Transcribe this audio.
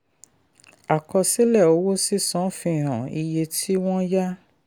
àkọsílẹ̀ owó sísan fi hàn iye tí wọ́n yá.